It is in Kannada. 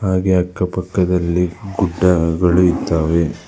ಹಾಗೆ ಅಕ್ಕ ಪಕ್ಕದಲ್ಲಿ ಗುಡ್ಡಗಳು ಇದ್ದಾವೆ.